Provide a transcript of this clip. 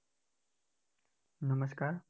નમસ્કાર